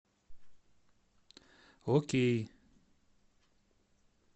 окей